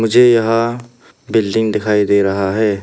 मुझे यहां बिल्डिंग दिखाई दे रहा है।